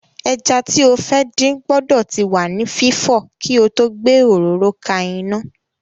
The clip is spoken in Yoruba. Ẹja tí o fẹ́ dín gbọ́dọ̀ ti wà ní fífọ̀ kí o tó gbé òróró ka iná.